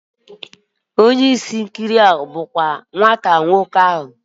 Onye isi na ihe nkiri a bụ nna nwata nwoke ahu